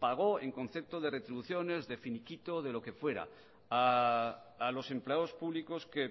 pagó en concepto de retribuciones de finiquito de lo que fuera a los empleados públicos que